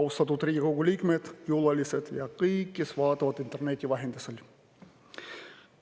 Austatud Riigikogu liikmed, külalised ja kõik, kes vaatavad meid interneti vahendusel!